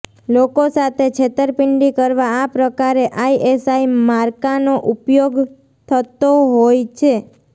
લોકો સાથે છેતરપિંડી કરવા આ પ્રકારે આઈએસઆઈ માર્કાનો ઉપયોગ થતો હોય છે